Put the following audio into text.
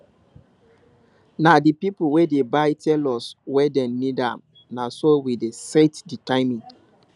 na the people wey dey buy tell us when dem need am na so we dey set the timing